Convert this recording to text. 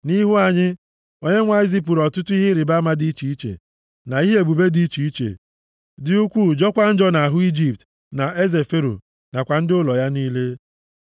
Nʼihu anyị, Onyenwe anyị zipụrụ ọtụtụ ihe ịrịbama dị iche iche na ihe ebube dị iche iche, dị ukwuu jọọkwa njọ nʼahụ Ijipt na eze Fero nakwa ndị ụlọ ya niile.